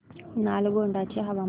नालगोंडा चे हवामान